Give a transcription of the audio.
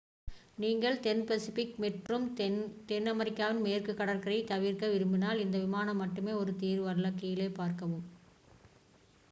நீங்கள் தென் பசிபிக் மற்றும் தென் அமெரிக்காவின் மேற்கு கடற்கரையைத் தவிர்க்க விரும்பினால் இந்த விமானம் மட்டுமே ஒரு தீர்வு அல்ல. கீழே பார்க்கவும்